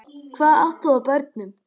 Hvað átt þú af börnum?